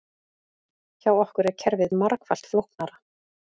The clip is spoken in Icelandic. Hjá okkur er kerfið margfalt flóknara